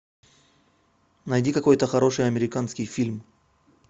найди какой то хороший американский фильм